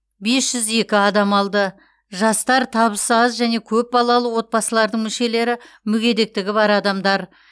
бес жүз екі адам алды жастар табысы аз және көпбалалы отбасылардың мүшелері мүгедектігі бар адамдар